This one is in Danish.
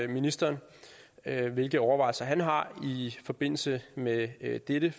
ministeren hvilke overvejelser han har i forbindelse med med dette